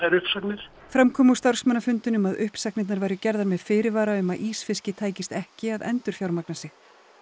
þær uppsagnir fram kom á starfmannafundinum að uppsagnirnar væru gerðar með fyrirvara um að ísfiski tækist ekki að endurfjármagna sig